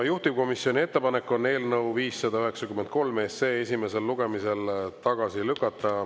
Juhtivkomisjoni ettepanek on eelnõu 593 SE esimesel lugemisel tagasi lükata.